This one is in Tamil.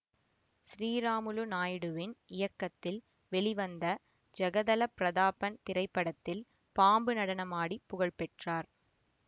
ஸ்ரீராமுலு நாயுடுவின் இயக்கத்தில் வெளிவந்த ஜகதலப் பிரதாபன் திரைப்படத்தில் பாம்பு நடனம் ஆடி புகழ் பெற்றார்